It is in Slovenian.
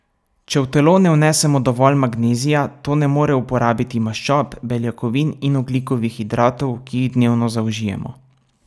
Če v telo ne vnesemo dovolj magnezija, to ne more uporabiti maščob, beljakovin in ogljikovih hidratov, ki jih dnevno zaužijemo.